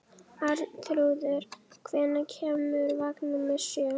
Arnþrúður, hvenær kemur vagn númer sjö?